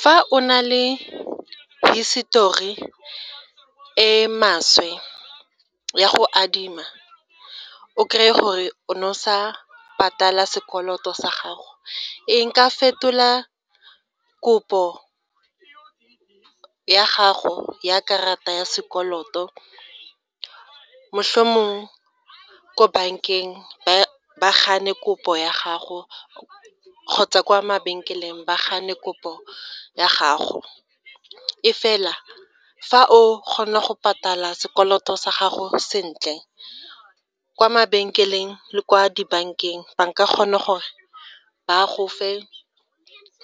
Fa o na le hisitori e e maswe ya go adima, o krey-e gore o ne o sa patala sekoloto sa gago, e nka fetola kopo ya gago ya karata ya sekoloto, mohlomong ko bankeng ba gane kopo ya gago kgotsa kwa mabenkeleng ba gane kopo ya gago, e fela fa o kgona go patala sekoloto sa gago sentle, kwa mabenkeleng le kwa dibankeng ba nka kgona gore ba go fe